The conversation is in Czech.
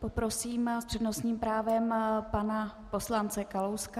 Poprosím s přednostním právem pana poslance Kalouska.